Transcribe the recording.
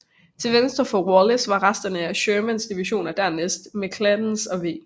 Til venstre for Wallace var resterne af Shermans division og dernæst McClernands og W